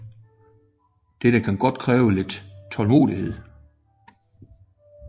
Dette kan godt kræve lidt tålmodighed